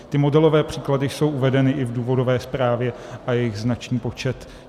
Ty modelové příklady jsou uvedeny i v důvodové zprávě a je jich značný počet.